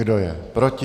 Kdo je proti?